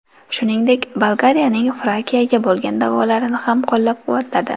Shuningdek, Bolgariyaning Frakiyaga bo‘lgan da’volarini ham qo‘llab-quvvatladi.